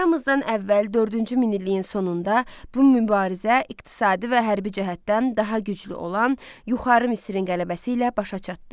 Eramızdan əvvəl dördüncü minilliyin sonunda bu mübarizə iqtisadi və hərbi cəhətdən daha güclü olan yuxarı Misrin qələbəsi ilə başa çatdı.